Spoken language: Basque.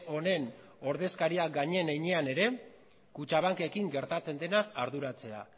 honen ordezkariak garen heinean ere kutxabankekin gertatzen denaz arduratzea